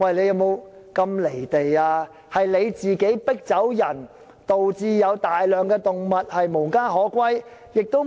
是當局將村民迫走，以致有大量動物無家可歸。